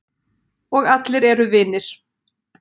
Og allir eru vinir.